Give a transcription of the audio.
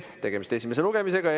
Tegemist on esimese lugemisega.